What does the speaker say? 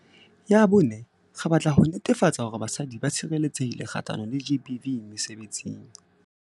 Ya bone, re batla ho netefatsa hore basadi ba tshireletsehile kgahlano le GBV mesebetsing.